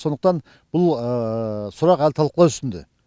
сондықтан бұл сұрақ әлі талқылау үстінде